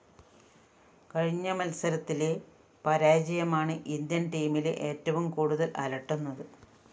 കഴിഞ്ഞ മത്സരത്തിലെ പരാജയമാണ് ഇന്ത്യന്‍ ടീമിലെ ഏറ്റവും കൂടുതല്‍ അലട്ടുന്നത്